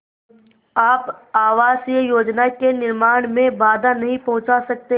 आप आवासीय योजना के निर्माण में बाधा नहीं पहुँचा सकते